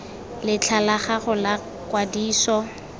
letlha la gago la kwadiso